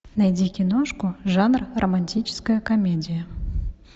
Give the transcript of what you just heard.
найди киношку жанр романтическая комедия